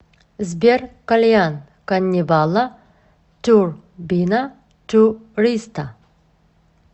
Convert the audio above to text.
сбер кальян каннибала турбина туриста